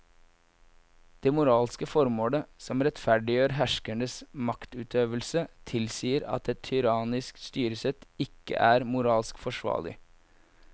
Det moralske formålet som rettferdiggjør herskerens maktutøvelse tilsier at et tyrannisk styresett ikke er moralsk forsvarlig.